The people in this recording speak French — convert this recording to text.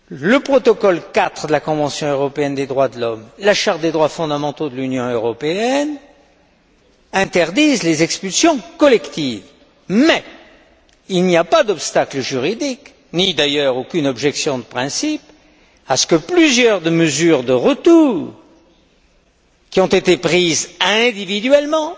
Le protocole IV de la convention européenne des droits de l'homme et la charte des droits fondamentaux de l'Union européenne interdisent les expulsions collectives, mais il n'y a pas d'obstacle juridique, ni d'ailleurs aucune objection de principe, à ce que plusieurs mesures de retour qui ont été prises individuellement